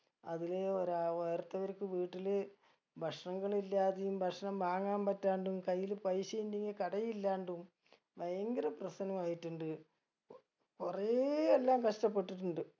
അതിലെ ഒരാ വേറിട്ടവർക്ക് വീട്ടില് ഭക്ഷണങ്ങൾ ഇല്ലാതെയും ഭക്ഷണം വാങ്ങാൻ പറ്റാണ്ടും കയ്യില് പൈസ ഇണ്ടെങ്കി കട ഇല്ലാണ്ടും ഭയങ്കര പ്രശനമായിട്ടുണ്ട് കു കുറേ എല്ലാം കഷ്ട്ടപെട്ടിട്ടുണ്ട്